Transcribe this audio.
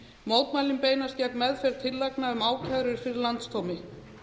mótmælin beinast gegn meðferð tillagna um ákærur fyrir landsdómi